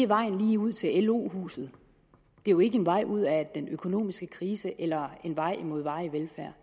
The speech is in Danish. vejen lige ud til lo huset det er jo ikke en vej ud af den økonomiske krise eller en vej imod varig velfærd